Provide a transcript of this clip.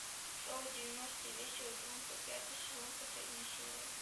шоу девяностые весело и громко пятый сезон последняя серия